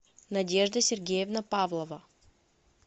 надежда сергеевна павлова